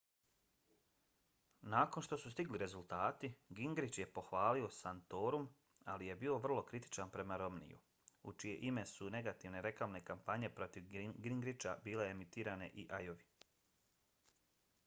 nakon što su stigli rezultati gingrich je pohvalio santorum ali je bio vrlo kritičan prema romneyju u čije ime su negativne reklamne kampanje protiv gingricha bile emitirane i ajovi